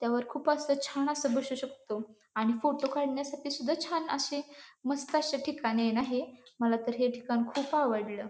त्यावर खुप अस छान अस बसू शकतो आणि फोटो काढण्यासाठी सुद्धा छान असे मस्त असे ठिकाणी आहे ना हे मला तर हे ठिकाण खुप आवडल.